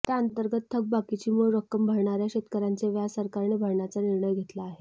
त्याअंतर्गत थकबाकीची मूळ रक्कम भरणाऱ्या शेतकऱ्यांचे व्याज सरकारने भरण्याचा निर्णय घेतला आहे